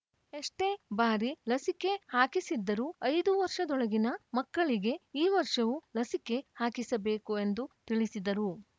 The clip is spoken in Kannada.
ಎಷ್ಟೇ ಬಾರಿ ಲಸಿಕೆ ಹಾಕಿಸಿದ್ದರೂ ಐದು ವರ್ಷದೊಳಗಿನ ಮಕ್ಕಳಿಗೆ ಈ ವರ್ಷವೂ ಲಸಿಕೆ ಹಾಕಿಸಬೇಕು ಎಂದು ತಿಳಿಸಿದರು